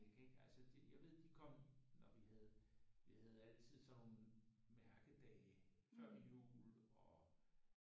Jeg kan ikke altså det jeg ved de kom og vi havde vi havde altid sådan nogle mærkedage før jul og